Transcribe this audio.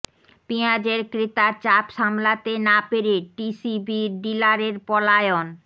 পেঁয়াজের ক্রেতার চাপ সামলাতে না পেরে টিসিবির ডিলারের পলায়ন